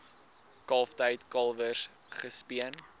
kalftyd kalwers gespeen